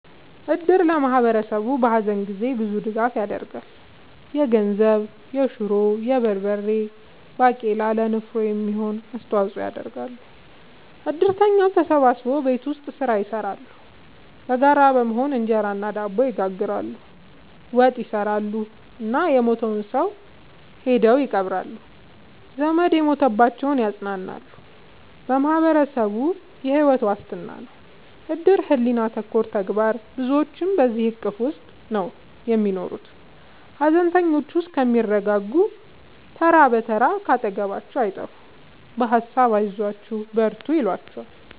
እድር ለማህበረሰቡ በሀዘን ጊዜ ብዙ ድጋፍ ይደረጋል። የገንዘብ፣ የሹሮ፣ የበርበሬ ባቄላ ለንፍሮ የሚሆን አስተዋጽኦ ያደርጋሉ። እድርተኛው ተሰብስቦ ቤት ውስጥ ስራ ይሰራሉ በጋራ በመሆን እንጀራ እና ድብ ይጋግራሉ፣ ወጥ ይሰራሉ እና የሞተውን ሰው ሄደው ይቀብራሉ። ዘመድ የሞተባቸውን ያፅናናሉ በማህበረሰቡ የሕይወት ዋስትና ነው እድር ሕሊና ተኮር ተግባር ብዙዎች በዚሕ እቅፍ ውስጥ ነው የሚኖሩት ሀዘነተኞቹ እስከሚረጋጉ ተራ ብትር ካጠገባቸው አይጠፍም በሀሳብ አይዟችሁ በርቱ ይሏቸዋል።